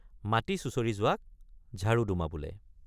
মাটি চুচৰি যোৱাক ঝাড়ুডুমা বোলে।